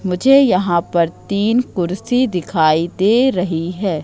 मुझे यहां पर तीन कुर्सी दिखाई दे रही है।